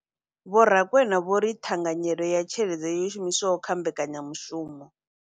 Vho Rakwena vho ri ṱhanganyelo ya tshelede yo shumiswaho kha mbekanya mushumo.